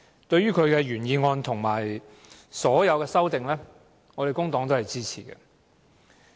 對於其原議案及所有修正案，工黨均會支持。